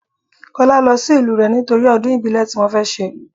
Kọ́lá lọ sí ìlú rẹ nítorí ọdún ìbílẹ̀ tí wọn fẹ́ ṣe.